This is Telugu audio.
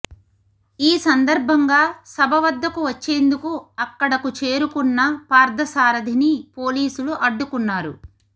ఈ సందర్భంగా సభ వద్దకు వచ్చేందుకు అక్కడకు చేరుకున్న పార్థసారథిని పోలీసులు అడ్డుకున్నారు